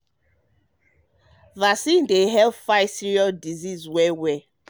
um vaccine um vaccine dey help fight serious disease well well.